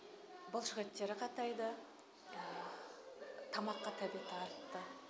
бұлшық еттері қатайды тамаққа тәбеті артты